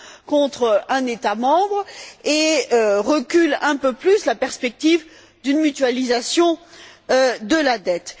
contre un État membre et fait reculer un peu plus la perspective d'une mutualisation de la dette.